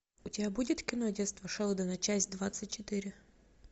у тебя будет кино детство шелдона часть двадцать четыре